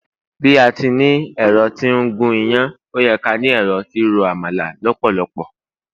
bi ati ni ẹrọ ti n gun iyán, o ye ká ni ẹrọ ti ro àmàlà lópòlopò